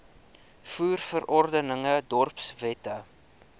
voer verordeninge dorpswette